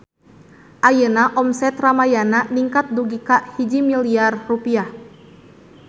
Ayeuna omset Ramayana ningkat dugi ka 1 miliar rupiah